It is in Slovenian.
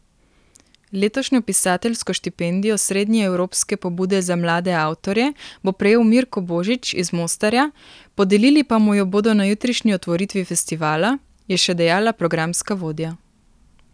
Letošnjo pisateljsko štipendijo srednjeevropske pobude za mlade avtorje bo prejel Mirko Božić iz Mostarja, podelili pa mu jo bodo na jutrišnji otvoritvi festivala, je še dejala programska vodja.